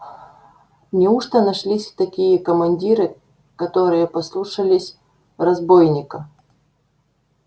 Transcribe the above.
неужто нашлись такие командиры которые послушались разбойника